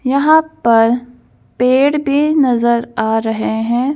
यहां पर पेड़ भी नजर आ रहे हैं।